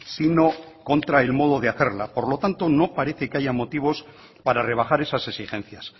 sino contra el modo de hacerla por lo tanto no parece que haya motivos para rebajar esas exigencias